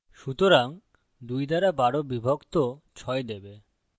সুতরাং ২ দ্বারা ১২ বিভক্ত ৬ দেবে